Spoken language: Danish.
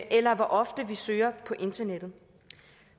eller hvor ofte man søger på internettet